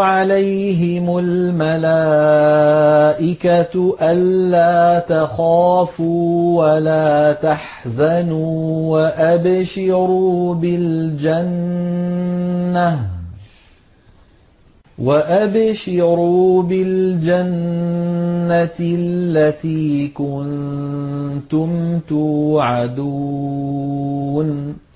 عَلَيْهِمُ الْمَلَائِكَةُ أَلَّا تَخَافُوا وَلَا تَحْزَنُوا وَأَبْشِرُوا بِالْجَنَّةِ الَّتِي كُنتُمْ تُوعَدُونَ